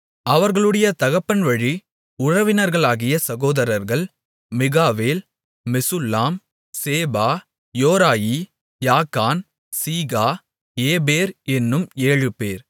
அவர்களுடைய தகப்பன் வழி உறவினர்களாகிய சகோதரர்கள் Michael Meshullam Sheba Jorai Jacan Zia Eber என்னும் ஏழு பேர்